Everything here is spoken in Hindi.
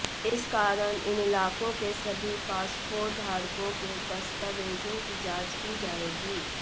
इस कारण इन इलाकों के सभी पासपोर्ट धारकों के दस्तावेजों की जांच की जाएगी